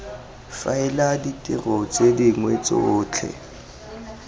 faela ditiro tse dingwe tsotlhe